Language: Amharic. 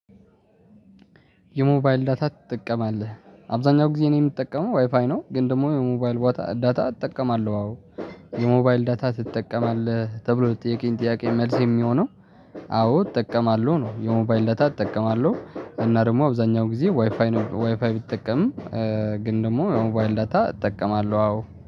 የሞባይል ዳታ ትጠቀማለህ? አብዛኛው ጊዜ እኔ የምጠቀመው ዋይፋይ ነው ግን ደግሞ የሞባይል ዳታ እጠቀማለሁ አዎ። የሞባይል ዳታ ትጠቀማለህ ተብሎ ለተጠየቀ ጥያቄ መልስ የሚሆነው። አዎ እጠቀማለሁ ነው። የሞባይል ዳታ እጠቀማለሁ እና ደግሞ አብዛኛው ጊዜ ዋይፋይ ነው። ዋይፋይ ቢጠቀምም ግን ደግሞ የሆነ የሞባይል ዳታ እጠቀማለሁ። አዎ